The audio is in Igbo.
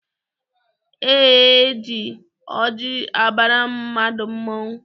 E ji ọjị abara mmadụ mmọnwụ.